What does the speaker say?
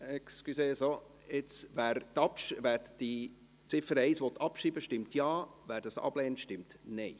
Wer die Ziffer 1 abschreiben will, stimmt Ja, wer dies ablehnt, stimmt Nein.